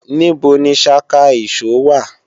Níbo ni ṣaka ìṣó wà